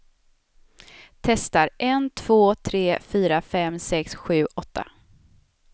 Testar en två tre fyra fem sex sju åtta.